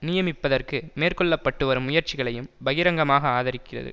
நியமிப்பதற்கு மேற்கொள்ளப்பட்டுவரும் முயற்சிகளையும் பகிரங்கமாக ஆதரிக்கிறது